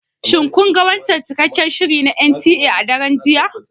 Shin kun ga wancan cikakken shirin na NTA a daren jiya?